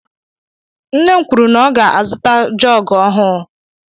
Nne m kwụrụ na ọ ga -azuta jogu ọhụụ.